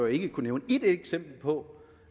ikke kunne nævne ét eksempel på